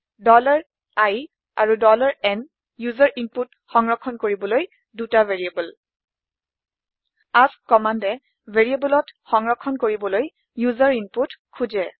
i আৰু n user input সংৰক্ষন কৰিবলৈ ২টা ভেৰিয়েবল এএছকে কম্মান্দে ভেৰিয়েবলত সংৰক্ষন কৰিবলৈ ওচেৰ ইনপুট খোজে